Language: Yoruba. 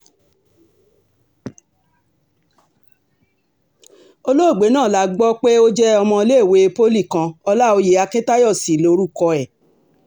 olóògbé náà la gbọ́ pé ó jẹ́ ọmọléèwé poli kan ọláòyè akiǹtayọ sí lórúkọ ẹ̀